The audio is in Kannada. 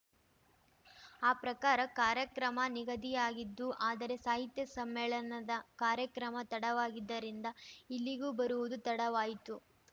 ಆ ಪ್ರಕಾರ ಕಾರ್ಯಕ್ರಮ ನಿಗದಿಯಾಗಿದ್ದು ಆದರೆ ಸಾಹಿತ್ಯ ಸಮ್ಮೇಳನದ ಕಾರ್ಯಕ್ರಮ ತಡವಾಗಿದ್ದರಿಂದ ಇಲ್ಲಿಗೂ ಬರುವುದು ತಡವಾಯ್ತು